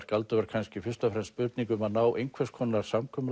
galdur var kannski fyrst og fremst spurning um að ná einhvers konar samkomulagi